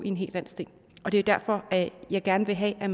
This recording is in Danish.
i en hel landsdel det er derfor at jeg gerne vil have at